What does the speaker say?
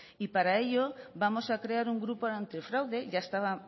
y para ello vamos a crear un grupo antifraude ya estaba